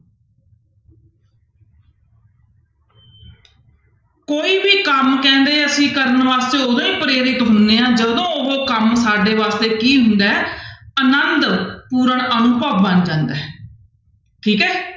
ਕੋਈ ਵੀ ਕੰਮ ਕਹਿੰਦੇ ਅਸੀਂ ਕਰਨ ਵਾਸਤੇ ਉਦੋਂ ਹੀ ਪ੍ਰੇਰਿਤ ਹੁੰਦੇ ਹਾਂ ਜਦੋਂ ਉਹ ਕੰਮ ਸਾਡੇ ਵਾਸਤੇ ਕੀ ਹੁੰਦਾ ਹੈ ਆਨੰਦ ਪੂਰਨ ਅਨੁਭਵ ਬਣ ਜਾਂਦਾ ਹੈ ਠੀਕ ਹੈ।